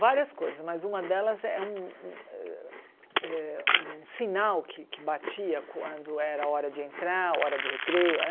Várias coisas, mas uma delas é um um eh um eh eh sinal que que batia quando era hora de entrar, hora do recreio, né?